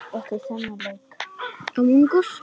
Já en allir þessir Finnar.